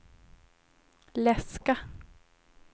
läska